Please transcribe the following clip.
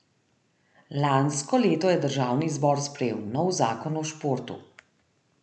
Lansko leto je državni zbor sprejel nov zakon o športu.